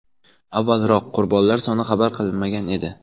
Avvalroq qurbonlar soni xabar qilinmagan edi.